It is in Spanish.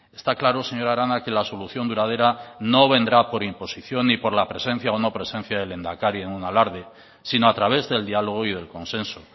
está claro señora arana que la solución duradera no vendrá por imposición y por la presencia o no presencia del lehendakari en un alarde sino a través del diálogo y del consenso